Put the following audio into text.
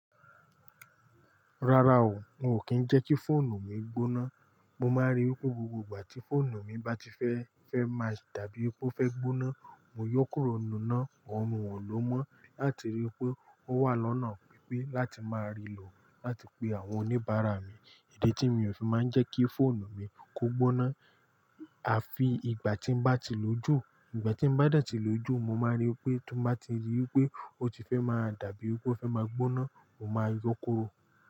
Rárá o, n o kin jẹ́ kí fóònù mi gbóná. Mo máa rí i pé gbogbo ìgbà tí fóònù mi báti fẹ́, fẹ́ máa dàbí pé ó fẹ́ gbóná, mo yóò kúrò nínú nà ọ̀ọ́lọ́mọ láti rí i pé ó wà lọ́nà pípé láti máa rí lò láti pe àwọn oníbàárà mi. Idi tí mi ò fi máa ń jẹ́ kí fóònù mi kó gbóná. A fi ìgbà tí ń bá ti lójú, ìgbà tí ń bá dẹ̀ tí lójú, mo máa rí i pé tó bá ti rí i pé ó ti fẹ́ máa dàbí pé ó fẹ́ máa gbóná, mo máa yọ́kùro.